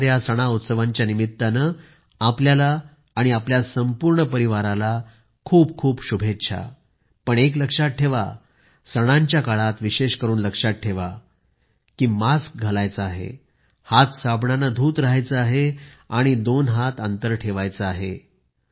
येणार्या सण उत्सवानिमित्त आपल्याला आणि आपल्या संपूर्ण परिवाराला खूप खूप शुभेच्छा पण एक लक्षात ठेवा सणांच्या काळात विशेष करून लक्षात ठेवा की मास्क घालायचा आहे हात साबणाने धुत राहायचे आहे आणि दोन गज अंतर ठेवायचे आहे